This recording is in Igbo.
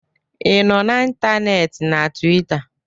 ị nọ na ntanetị na Tuweeta